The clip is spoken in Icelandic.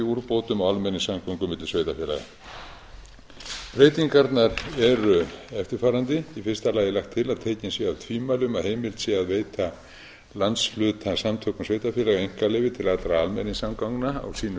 úrbótum á almenningssamgöngum milli sveitarfélaga breytingarnar eru eftirfarandi í fyrsta lagi er lagt til að tekin séu af tvímæli um að heimilt sé að veita landshlutasamtökum sveitarfélaga einkaleyfi til allra almenningssamgangna á sínu